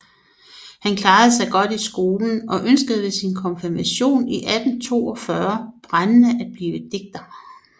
Han klarede sig godt i skolen og ønskede efter sin konfirmation i 1842 brændende at blive digter